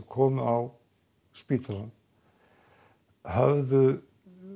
komu á spítalann höfðu